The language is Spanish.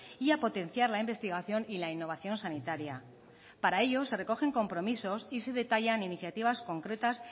y a potenciar la investigación y la innovación sanitaria para ello se recogen compromisos y se detallan iniciativas concretas